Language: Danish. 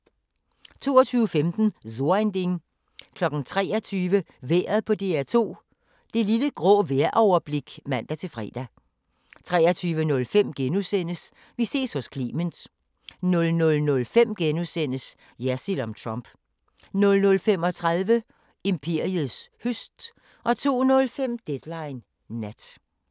22:15: So ein Ding 23:00: Vejret på DR2 – Det lille grå vejroverblik (man-fre) 23:05: Vi ses hos Clement * 00:05: Jersild om Trump * 00:35: Imperiets høst 02:05: Deadline Nat